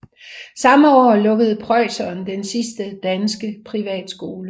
Samme år lukkede preusserne den sidste danske privatskole